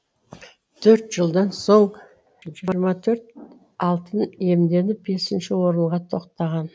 төрт жылдан соң жиырма төрт алтын иемденіп бесінші орынға тоқтаған